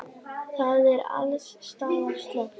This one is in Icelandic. Það er alls staðar slökkt.